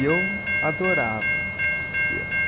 E eu adorava o piano.